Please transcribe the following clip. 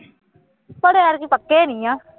ਪਰ ਯਾਰ ਇਹ ਕੋਈ ਪੱਕੇ ਨਹੀਂ ਹੈ